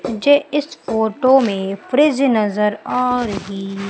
मुझे इस फोटो में फ्रिज नजर आ रही--